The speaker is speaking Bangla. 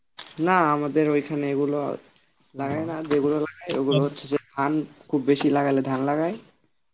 না আমাদের ওইখানে এগুলো না আর যেগুলো লাগায় ওগুলো হচ্ছে যে ধান খুব বেশি লাগালে ধান লাগায়